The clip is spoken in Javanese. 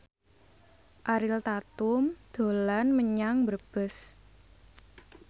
Ariel Tatum dolan menyang Brebes